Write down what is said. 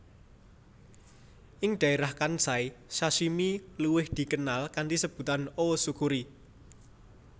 Ing dhaérah Kansai sashimi luwiih dikenal kanthi sebutan O tsukuri